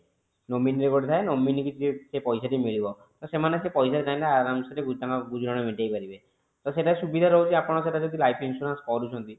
nominee ଯିଏ ପଡିଥାଏ nominee କି ସେ ପଇସା ଟି ମିଳିବ ସେମାନେ ସେ ପଇସା ରେ ତାଙ୍କର ଗୁଜୁରାଣ ମେଣ୍ଟାଇ ପାରିବେ ସେଟ ସୁବିଧା ରହୁଛି ଯଦି ଆପଣ ଲାଇଫ insurance କରୁଛନ୍ତି